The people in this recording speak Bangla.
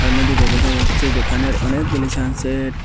সামনের দিকে দেখা যাচ্ছে দোকানের অনেকগুলি সান সেড ।